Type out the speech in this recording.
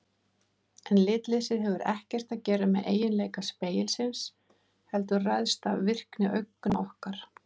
En litleysið hefur ekkert að gera með eiginleika spegilsins heldur ræðst af virkni augna okkar.